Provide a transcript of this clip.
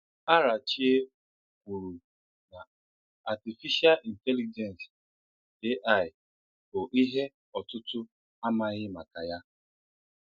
Àràchìè kwuru na Atífíshà Ị̀ntélíjènsì (AI) bụ́ ihe ọ̀tùtù̀ amaghí maka ya.